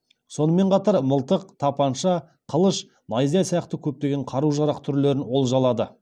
сонымен қатар мылтық тапанша қылыш найза сияқты көптеген қару жарақ түрлерін олжалады